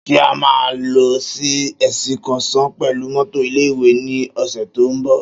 Ṣé a máa lọ sí èsìkọ́sàn pẹ̀lú mọ́tọ̀ ilé ìwé ní ọ̀sẹ̀ tí ó ń bọ̀